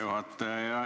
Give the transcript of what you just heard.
Hea juhataja!